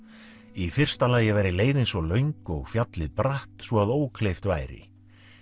í fyrsta lagi væri leiðin svo löng og fjallið bratt svo að ókleift væri